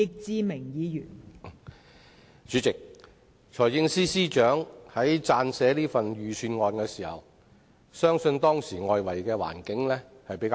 代理主席，財政司司長在撰寫本年度的財政預算案時，外圍環境比較好。